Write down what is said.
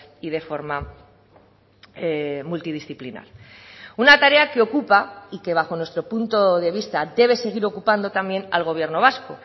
y de forma multidisciplinar una tarea que ocupa y que bajo nuestro punto de vista debe seguir ocupando también al gobierno vasco